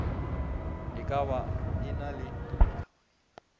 e ka ba e na